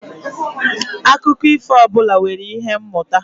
Akụkọ ifo ọbụla nwere ihe mmụta